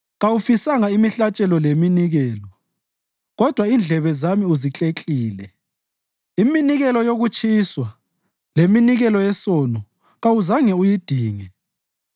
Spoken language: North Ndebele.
Kawufisanga imihlatshelo leminikelo kodwa indlebe zami uzikleklile; iminikelo yokutshiswa leminikelo yesono kawuzange uyidinge.